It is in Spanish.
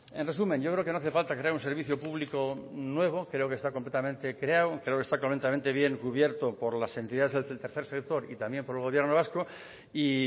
en resumen yo creo que no hace falta crear un servicio público nuevo creo que está completamente creado creo que está completamente bien cubierto por las entidades del tercer sector y también por el gobierno vasco y